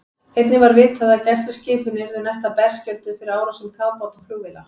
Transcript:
Einnig var vitað, að gæsluskipin yrðu næsta berskjölduð fyrir árásum kafbáta og flugvéla.